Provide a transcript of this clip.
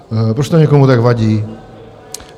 Proč to někomu tak vadí?